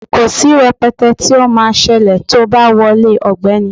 Kò sí rẹ̀pẹ̀tẹ tí ó máa ṣẹlẹ̀ tí o bá wọlé ọ̀gbẹ́ni.